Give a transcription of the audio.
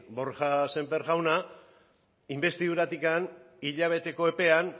borja sémper jauna inbestiduratik hilabeteko epean